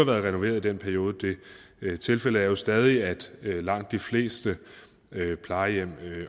været renoveret i den periode tilfældet er jo stadig at langt de fleste plejehjem